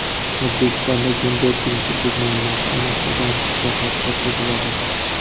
O‘zbekistonda gender tengsizlik muammosi, ayniqsa, bandlik sohasida seziladi.